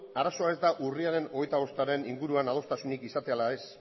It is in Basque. arazoa ez da urriaren hogeita bostaren inguruan adostasunik izatea ala ez